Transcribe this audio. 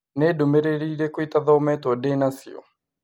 Nĩ ndũmĩrĩri irĩkũ itathometwo ndĩ na cio?